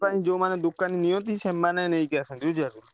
ଯୋଉମାନେ ଦୋକାନୀ ନିଅନ୍ତି ସେମାନେ ନେଇକି ଆସନ୍ତି ବୁଝିପାଇଲ।